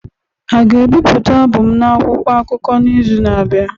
A ga-ebipụta abụ m n'akwụkwọ akụkọ n'izu na-abịa?